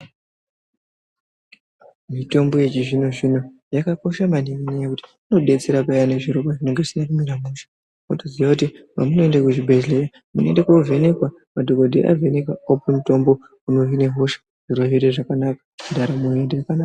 Mitombo yechizvino zvino yakakosha maningi ngenyaya yekuti inodetsera peyani zvirwere zvinenge zvisina kumira mushe wotoziya kuti pamunoende kuzvibhedhlera munoende kovhenekwa madhokodheya avheneka okupe mutombo unohine hosha zviro zvoite zvakanaka ndaramo yo........